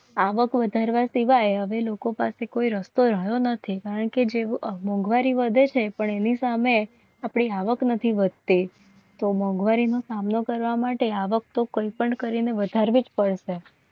આવક વધારવા સિવાય હવે લોકો પાસે કોઈ રસ્તો રહ્યો નથી કારણ કે જેવું મોંઘવારી વધે છે. પણ એની સામે આપણી આવક નથી હોતે તો મોંઘવારી નો સામનો કરવા માટે આવક તો કોઈપણ કરીને વધારવી જ પડશે.